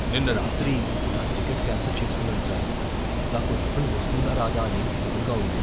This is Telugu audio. నిన్న రాత్రి నా టికెట్ క్యాన్సిల్ చేసుకున్నాను సార్. నాకు రిఫండ్ వస్తుందా రాదా అని దిగులుగా ఉంది.